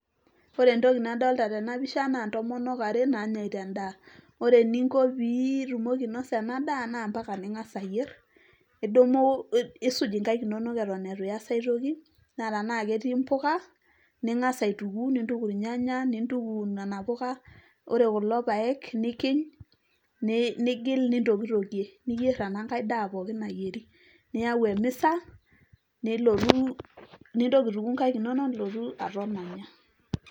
ore entoki nadolita tena pisha naa intomonok are nainosita endaa, ore eninko pee itumoki ainosa ena daa na mpaka pee ing'as ayier, isuj inkaik inonok eton itu iyas aitoki. naa tenaa ketii impuka ning'as aituku nintuku irnyanya nintuku nena puka ore kulo paek nikiny, nigil nintokitokie, ninyer enekae daa pookin nayieri, niyau emisa, nintoki aituku inkaik inonok nilotu aton anya.